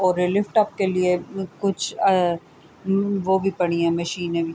اور یہ لفٹ اپ کے لئے کچھ ا وو بھی پڑی ہے مشینے بھی--